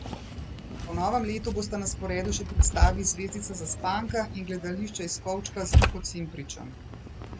Po novem letu bosta na sporedu še predstavi Zvezdica zaspanka in Gledališče iz kovčka z Luko Cimpričem.